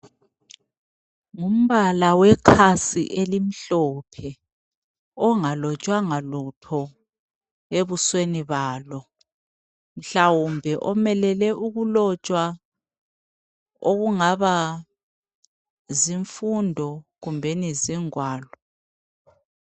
Ngumbala wekhasi elimhlophe ongalotshwanga lutho ebusweni balo. Mhlawumbe omelele ukulotshwa okungaba zimfundo kumbeni zingwalo.